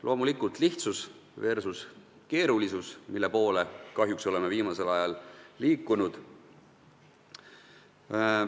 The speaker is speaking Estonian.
Loomulikult lihtsus versus keerulisus, selle viimase poole oleme kahjuks viimasel ajal liikunud.